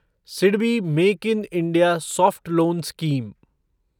SIDBI make in India soft loan scheme